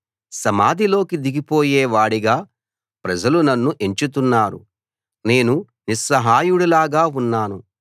సమాధిలోకి దిగిపోయే వాడిగా ప్రజలు నన్ను ఎంచుతున్నారు నేను నిస్సహాయుడిలాగా ఉన్నాను